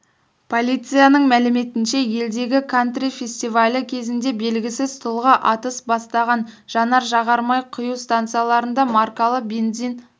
полицияның мәліметінше елдегі кантри фестивалі кезінде белгісіз тұлға атыс бастаған жанар-жағар май құю станцияларында маркалы бензин